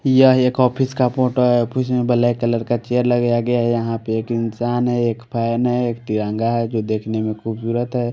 यह एक ऑफिस का फोटो है ऑफिस में ब्लैक कलर का चेयर लगाया गया यहां पे एक इंसान है एक फैन है एक तिरंगा है जो देखने में खूबसूरत है।